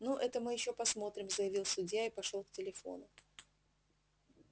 ну это мы ещё посмотрим заявил судья и пошёл к телефону